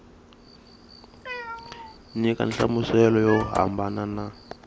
nyika nhlamuselo yo hambana na